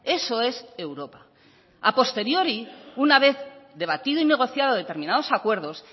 eso es europa a posteriori una vez debatido y negociado determinados acuerdos